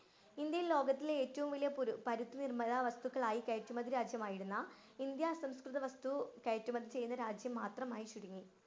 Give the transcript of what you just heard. ഇന്‍ഡ്യയില്‍ ലോകത്തിലെ ഏറ്റവും വലിയ പരുത്തിനിര്‍മ്മിത വസ്തുക്കളായി കയറ്റുമതി രാജ്യമായിരുന്ന ഇന്ത്യ അസംസ്കൃത വസ്തു കയറ്റുമതി ചെയ്യുന്ന രാജ്യം മാത്രമായി ചുരുങ്ങി.